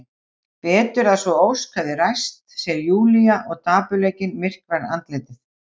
Betur að sú ósk hefði ræst, segir Júlía og dapurleikinn myrkvar andlitið.